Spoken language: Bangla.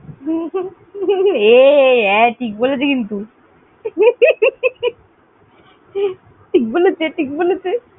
এ, ঠিক বলেছে কিন্তু। ঠিক বলেছে, ঠিক বলেছে।